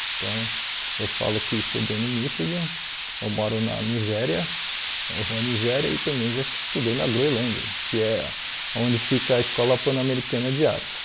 Então, eu falo que estudei no Michigan, eu moro na Nigéria, na rua Nigéria, e também já estudei na Groenlândia, que é onde fica a Escola Pan-Americana de Artes.